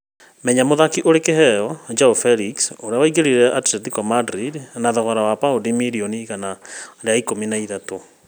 Menya mũthaki ũrĩ kĩheo Joao Felix ũrĩa waingĩrire Atlentico Madrid na thogora wa paũndi mirioni igana rĩa ikũmi na ithatũ